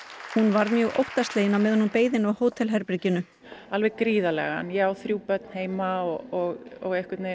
hún varð mjög óttaslegin á meðan hún beið á hótelherberginu alveg gríðarlega en ég á þrjú börn heima og einhvern veit